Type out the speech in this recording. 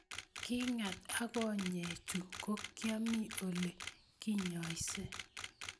Kingat at konyekchu ko kiami Ole kinyoise